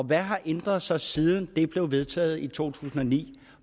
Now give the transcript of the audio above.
hvad har ændret sig siden det blev vedtaget i to tusind og ni